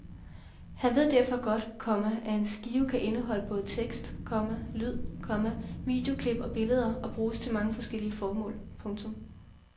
Han ved derfor godt, komma at en skive kan indeholde både tekst, komma lyd, komma videoklip og billeder og bruges til mange forskellige formål. punktum